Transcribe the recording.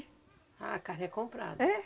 Ah, a carne é comprada? É